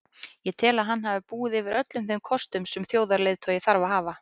Ég tel að hann hafi búið yfir öllum þeim kostum sem þjóðarleiðtogi þarf að hafa.